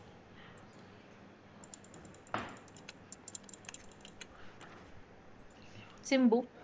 Simbu